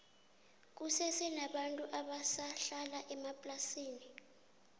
kusese nabantu abasa hlala emaplasini